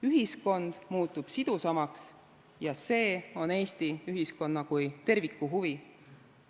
Ühiskond muutub sidusamaks ja see on Eesti ühiskonna kui terviku huvi.